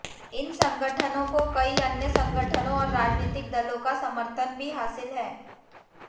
इन संगठनों को कई अन्य संगठनों और राजनैतिक दलों का समर्थन भी हासिल है